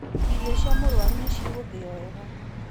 Irio cia mũrũaru nĩ cigũthio wega.